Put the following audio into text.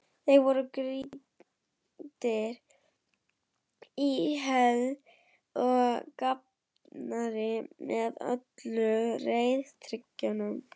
Þeir voru grýttir í hel og grafnir með öllum reiðtygjum.